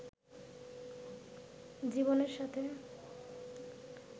জীবনের সাথে